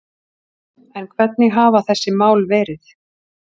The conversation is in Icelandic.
En hvernig hafa þessi mál verið